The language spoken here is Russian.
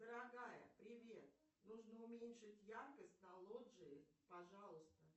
дорогая привет нужно уменьшить яркость на лоджии пожалуйста